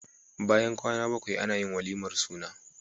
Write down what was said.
Bayan kwAna bakwai Anayin walimar suna